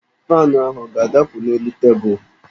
Faanụ ahụ ọ ga-adapụ n'elu tebụlụ?